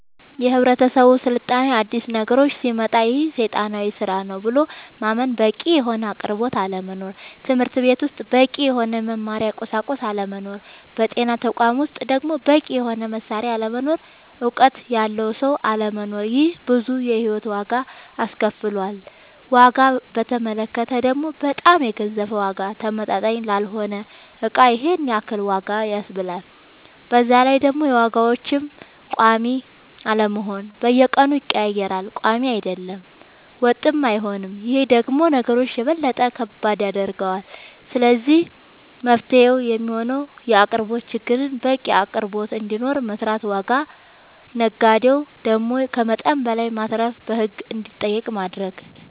የህብረተሰብ ስልጣኔ አዲስ ነገሮች ሲመጣ ይሄ ሴጣናዊ ስራ ነው ብሎ ማመን በቂ የሆነ አቅርቦት አለመኖር ትምህርትቤት ውስጥ በቂ የሆነ የመማሪያ ቁሳቁስ አለመኖር በጤና ተቋማት ውስጥ ደሞ በቂ የሆነ መሳሪያ አለመኖር እውቀት ያለው ሰው አለመኖር ይሄ ብዙ የሂወት ዋጋ አስከፍሎል ዋጋ በተመለከተ ደሞ በጣም የገዘፈ ዋጋ ተመጣጣኝ ላልሆነ እቃ ይሄንን ያክል ዋጋ ያስብላል በዛላይ ደሞ የዋጋዎች ቆሚ አለመሆን በየቀኑ ይቀያየራል ቆሚ አይደለም ወጥም አይሆንም ይሄ ደሞ ነገሮች የበለጠ ከባድ ያደርገዋል ስለዚህ መፍትሄው የሚሆነው የአቅርቦት ችግርን በቂ አቅርቦት እንዲኖር መስራት ዋጋ ነጋዴው ደሞ ከመጠን በላይ ማትረፍን በህግ እንዲጠየቅ ማረግ